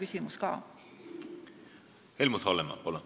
Helmut Hallemaa, palun!